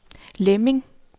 Lemming